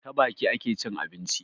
Ta baki ake cin abinci